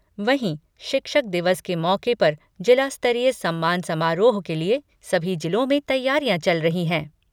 वहीं, शिक्षक दिवस के मौके पर जिला स्तरीय सम्मान समारोह के लिए सभी जिलों में तैयारियां चल रही हैं।